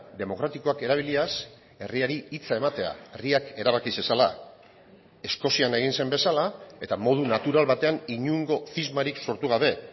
demokratikoak erabiliaz herriari hitza ematea herriak erabaki zezala eskozian egin zen bezala eta modu natural batean inongo zismarik sortu gabe